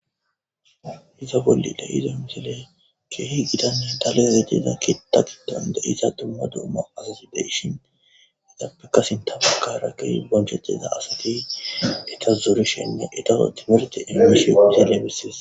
Iza bollile izo misile keehi gidanne tale zejjeza kitagidonde iza tumma duuma azazu de ishin izappekasinta bakara ke bonchexeza asati eta zorishenne etao timirti immishizelebissis.